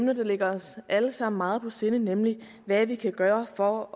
der ligger os alle sammen meget på sinde nemlig hvad vi kan gøre for